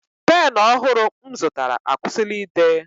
Pen ọhụrụ m zụtara akwụsịla ide